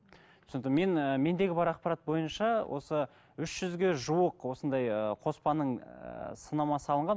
түсінікті мен і мендегі бар ақпарат бойынша осы үш жүзге жуық осындай ыыы қоспаның ыыы сынамасы алынған